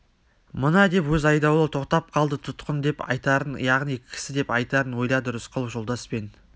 мына деп өз айдауылы тоқтап қалды тұтқын деп айтарын яғни кісі деп айтарын ойлады рысқұлов жолдаспен